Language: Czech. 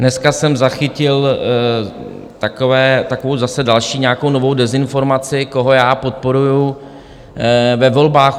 Dneska jsem zachytil takovou zase další nějakou novou dezinformaci, koho já podporuji ve volbách.